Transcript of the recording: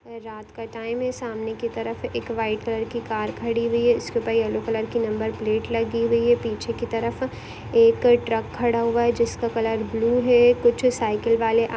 रात का टाइम है सामने की तरफ एक व्हाइट कलर की कार खड़ी हुई है उसके ऊपर येल्लो कलर की नंबर प्लेट लगी हुई है पीछे की तरफ एक ट्रक खड़ा हुआ जिसका कलर ब्लू है कुछ साइकिल वाले--